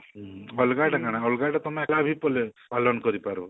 ହଁ ଅଲଗା ଆଡେ କାଣା ଅଲଗା ଆଡେ ତମେ ହେଲା ପାଲନ କରିପାରିବ